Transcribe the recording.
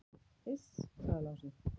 """Iss, sagði Lási."""